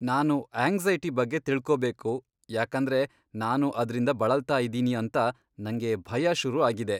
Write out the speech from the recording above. ನಾನು ಆಂಗ್ಸೈಟಿ ಬಗ್ಗೆ ತಿಳ್ಕೋಬೇಕು, ಯಾಕಂದ್ರೆ ನಾನು ಅದ್ರಿಂದ ಬಳಲ್ತಾ ಇದೀನಿ ಅಂತ ನಂಗೆ ಭಯ ಶುರು ಆಗಿದೆ.